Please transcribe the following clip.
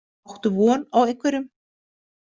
Áttu von á einhverjum?